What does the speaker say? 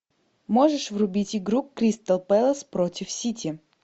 можешь врубить игру кристал пэлас против сити